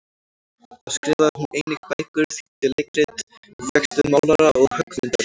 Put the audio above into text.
Þá skrifaði hún einnig bækur, þýddi leikrit, og fékkst við málara- og höggmyndalist.